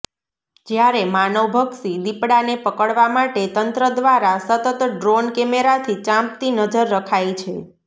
જ્યારે માનવભક્ષી દીપડાને પકડવા માટે તંત્ર દ્વારા સતત ડ્રોન કમેરાથી ચાંપતી નજર રખાય છે